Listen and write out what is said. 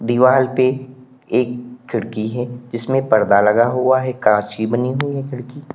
दीवाल पे एक खिड़की है जिसमें पर्दा लगा हुआ है कांच की बनी हुई है खिड़की।